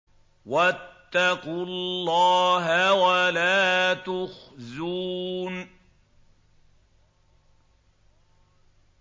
وَاتَّقُوا اللَّهَ وَلَا تُخْزُونِ